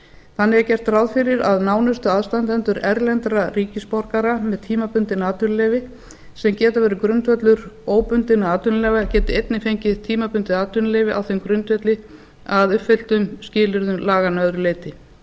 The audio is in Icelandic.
þannig er gert ráð fyrir að nánustu aðstandendur erlendra ríkisborgara með tímabundin atvinnuleyfi sem geta verið grundvöllur óbundinna atvinnuleyfa geti einnig fengið tímabundið atvinnuleyfi á þeim grundvelli að uppfylltum skilyrðum laganna að öðru leyti